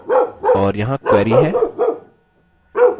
और यहाँ query है: